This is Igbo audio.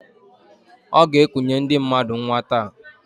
Ọ g'ekunye ndị mmadụ nnwa taa.